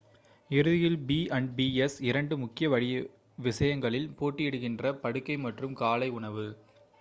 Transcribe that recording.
இறுதியில் b&bs இரண்டு முக்கிய விஷயங்களில் போட்டியிடுகின்றன படுக்கை மற்றும் காலை உணவு